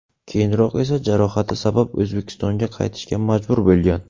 Keyinroq esa jarohati sabab O‘zbekistonga qaytishga majbur bo‘lgan.